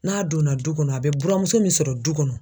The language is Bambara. N'a donna du kɔnɔ a be buramuso min sɔrɔ du kɔnɔ